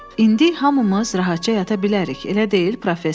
İndi hamımız rahatca yata bilərik, elə deyil, professor?